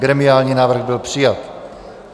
Gremiální návrh byl přijat.